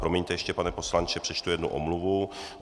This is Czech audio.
Promiňte ještě, pane poslanče, přečtu jednu omluvu.